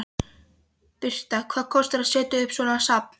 Birta: Hvað kostar að setja upp svona safn?